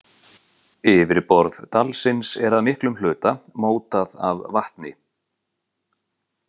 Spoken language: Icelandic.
Yfirborð dalsins er að miklum hluta mótað af vatni.